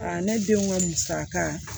ne denw ka musaka